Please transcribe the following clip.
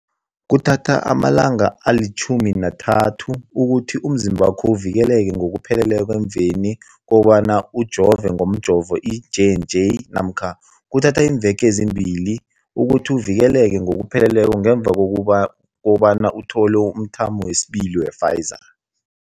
Kuthatha amalanga ama-30 ukuthi umzimbakho uvikeleke ngokupheleleko emveni kobana ujove ngomjovo i-J and J namkha kuthatha iimveke ezimbili ukuthi uvikeleke ngokupheleleko ngemva kobana uthole umthamo wesibili wePfizer.